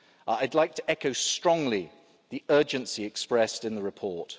I'd like to echo strongly the urgency expressed in the report.